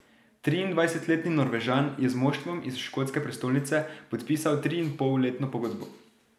Triindvajsetletni Norvežan je z moštvom iz škotske prestolnice podpisal triinpolletno pogodbo.